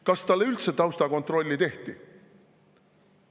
Kas talle üldse taustakontrolli tehti?